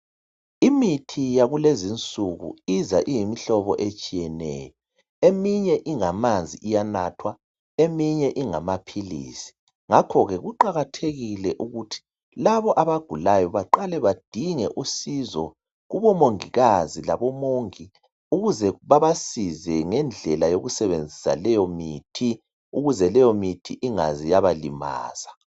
Imithi yakulezinsuku iza iyimihlobo etshiyeneyo. Eminye ingamanzi iyanathwa, eminye ingamaphilisi. Ngakhoke kuqakathekile ukuthi labo abagulayo baqale bedinge usizo kubomongikazi labomongi ukuze babasize ngendlela yokusebenzisa leyo mithi. Ukuze leyomithi ingaze yabalimaza.